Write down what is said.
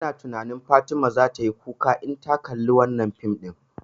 Ina tunani Fatima zata yi kuka in ta kalla fim ɗin